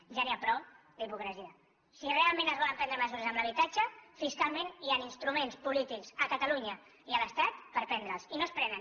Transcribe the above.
ja n’hi ha prou d’hipocresia si realment es volen prendre mesures en l’habitatge fis calment hi han instruments polítics a catalunya i a l’estat per prendre les i no es prenen